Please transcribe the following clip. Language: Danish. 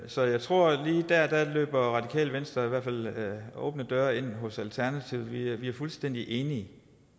så jeg tror at i hvert fald løber radikale venstre åbne døre ind hos alternativet vi er fuldstændig enige